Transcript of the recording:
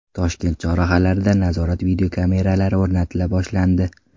Toshkent chorrahalarida nazorat videokameralari o‘rnatila boshlandi.